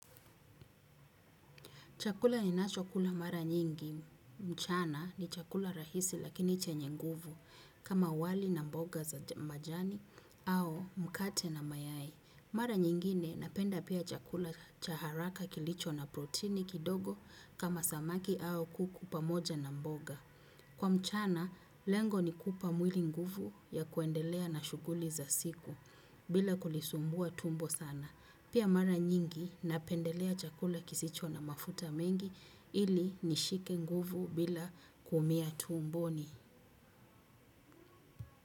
Chakula ninachakula mara nyingi mchana ni chakula rahisi lakini chenye nguvu kama wali na mboga za majani au mkate na mayai. Mara nyingine napenda pia chakula cha haraka kilicho na protini kidogo kama samaki au kuku pamoja na mboga. Kwa mchana, lengo ni kupa mwili nguvu ya kuendelea na shuguli za siku bila kulisumbua tumbo sana. Pia mara nyingi na pendelea chakula kisicho na mafuta mengi ili nishike nguvu bila kumia tuumboni.